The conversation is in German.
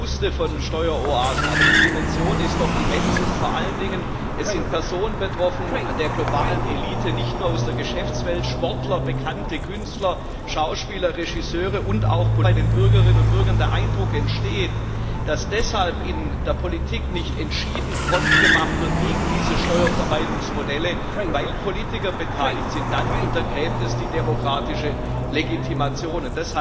Ja man wusste von Steueroasen, aber die Dimension ist doch immens, und vor allen Dingen sind Personen der globalen Elite betroffen, nicht nur aus der Geschäftswelt, Sportler, bekannte Künstler, Schauspieler, Regisseure und auch Politiker. Und wenn da bei den Bürgerinnen und Bürgern der Eindruck entsteht, dass deshalb in der Politik nicht entschieden Front gemacht wird gegen diese Steuervermeidungsmodelle, weil Politiker beteiligt sind, dann untergräbt es die demokratische Legitimation.